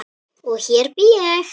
Og hér bý ég!